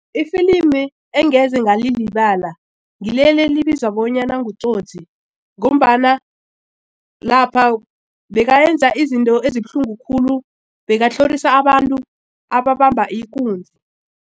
Ifilimu engeze ngalilibala ngileli elibizwa bonyana nguTsotsi ngombana lapha bekayenza izinto ezibuhlungu khulu bebatlhorisa abantu ababamba ikunzi.